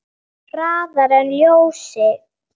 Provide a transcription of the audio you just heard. Hraðar en ljósið.